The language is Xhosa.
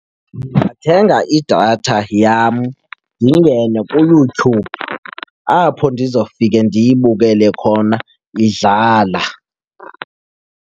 thenga idatha yam ndingene kuyoutube apho ndizafike ndiyibukele khona idlala.